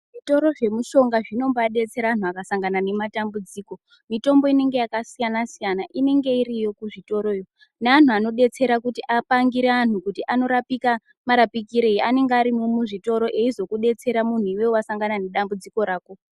Zvitoro zve mushonga zvinombai detsera antu aka sangana nema tambudzika mitombo inenge yaka siyana siyana inenge iriyo ku zvitoro yo ne anhu anodetsera kuti apangire anhu ano rapika marapikirei anonge arimwo mu zvitoro eizo detsera muntu iwewe wasangana ne dambudziko rako .